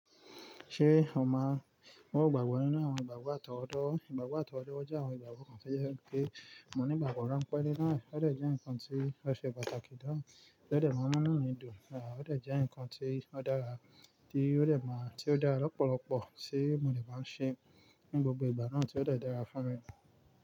Ṣé o ma, ó gbàgbọ́ nínú àwọn ìgbàgbọ́ àtọwọ́do. Ìgbàgbọ́ àtọwọ́do jé àwọn ìgbàgbọ́ kan ṣe yẹ kí mo ní ìgbàgbọ́ ránpẹ́ nínú rẹ̀. Ó dẹ̀ jẹ́ nǹkan tí ó ṣe pàtàkì naa, ó dẹ̀ máa n mu inú midùn, àbí ó dẹ̀ jẹ́ nǹkan tí ó dára, tí ó dẹ̀ máa, tí ó dára lọ́pọ̀lọ́pọ̀ tí mo lè bá ń ṣe ní gbogbo ìgbà náà tí ó dẹ̀ dára fún mi.